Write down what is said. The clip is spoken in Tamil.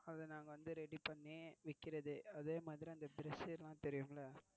அதே மாதிரி அந்த dress எல்லாம் தெரியும் இல்லை. அத நாங்க வந்து ready பண்ணி விக்கிறது.